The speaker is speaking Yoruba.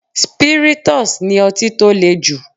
Spirytus ni ọtí tó le jù.